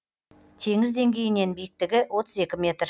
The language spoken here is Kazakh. теңіз деңгейінен биіктігі отыз екі метр